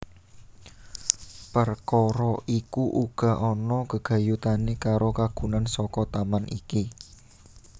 Perkara iku uga ana gegayutané karo kagunan saka taman iki